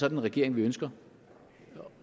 en regering vi ønsker